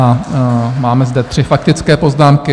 A máme zde tři faktické poznámky.